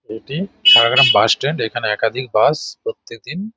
এটি সারাগ্রাম bus stand এই খান একাধিক বাস প্রত্যেকদিন--